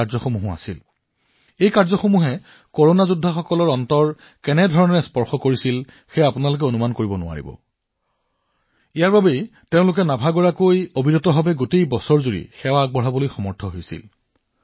আপোনালোকে অনুভৱ নকৰে নে কৰোনা যোদ্ধাসকলৰ হৃদয় কিমান স্পৰ্শ কৰা হৈছিল আৰু সেইবাবেই গোটেই বছৰ ধৰি তেওঁলোকে অক্লান্তভাৱে দৃঢ় হৈ আছিল